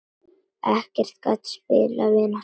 Ekkert gat spillt vináttu þeirra.